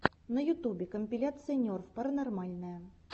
на ютубе компиляция нерв паранормальное